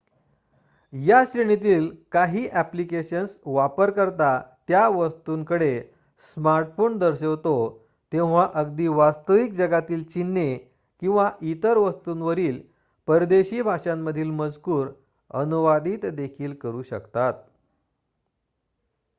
या श्रेणीतील काही ॲप्लिकेशन्स वापरकर्ता त्या वस्तूंकडे स्मार्टफोन दर्शवितो तेव्हा अगदी वास्तविक जगातील चिन्हे किंवा इतर वस्तूंवरील परदेशी भाषांमधील मजकूर अनुवादित देखील करू शकतात